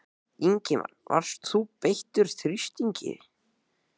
Ingimar: Varst þú beittur þrýstingi?